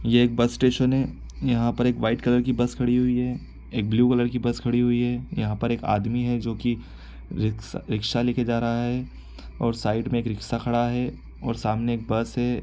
ये एक bus station है। यहाँ पर एक वाइट कलर की बस खड़ी हुई है। एक ब्लू कलर की बस खड़ी हुई है। यहाँ पर एक आदमी है जोकि रिक्स रिक्शा लेके जा रहा है और साइड में एक रिक्शा खड़ा है और सामने एक बस है।